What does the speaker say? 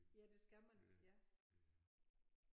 Ja det skal man ja